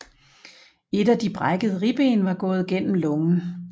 Et af de brækkede ribben var gået gennem lungen